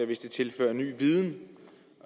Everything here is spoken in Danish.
hvis den tilfører ny viden